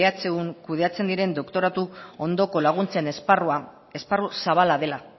ehun kudeatzen diren doktoratu ondoko laguntzen esparrua esparru zabala dela